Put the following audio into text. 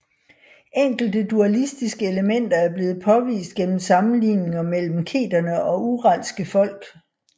Enkelte dualistiske elementer er blevet påvist gennem sammenligninger mellem keterne og uralske folk